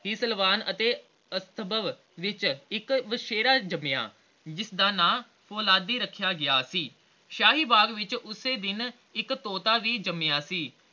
ਵਿਚ ਇਕ ਵਛੇਰਾ ਜਮਿਆ ਜਿਸਦਾ ਨਾ ਓਲਾਦੀ ਰੱਖਿਆ ਗਿਆ ਸੀ l ਸ਼ਾਹੀ ਬਾਗ ਵਿਚ ਉਸੇ ਦਿਨ ਇਕ ਤੋਤਾ ਵੀ ਜਮਿਆ ਸੀ l